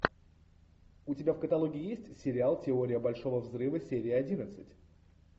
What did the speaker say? у тебя в каталоге есть сериал теория большого взрыва серия одиннадцать